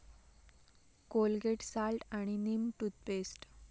Colgate salt आणि neem toothpaste